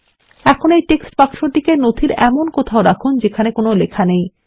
এখন এই টেক্সটবাক্স টিকে ডকুমেন্ট এর এমন কথাও রাখুন যেখানে কোন লেখা নেই